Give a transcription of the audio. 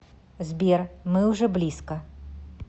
сбер мы уже близко